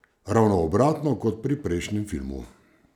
Ravno obratno kot pri prejšnjem filmu.